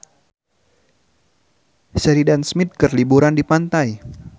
Sheridan Smith keur liburan di pantai